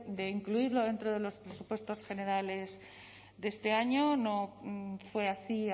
de incluirlo dentro de los presupuestos generales de este año no fue así